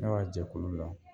Ne b'a jɛkulu la